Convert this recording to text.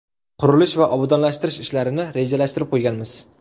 Qurilish va obodonlashtirish ishlarini rejalashtirib qo‘yganmiz.